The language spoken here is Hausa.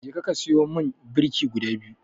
Jeka ka siyo man birki guda biyu.